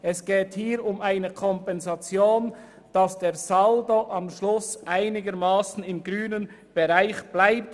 Hier geht es um eine Kompensation, damit der Saldo am Schluss einigermassen im grünen Bereich bleibt.